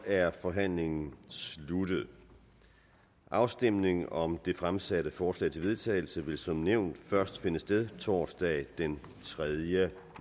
er forhandlingen sluttet afstemningen om det fremsatte forslag til vedtagelse vil som nævnt først finde sted torsdag den tredje